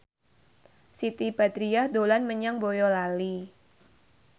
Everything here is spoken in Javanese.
Siti Badriah dolan menyang Boyolali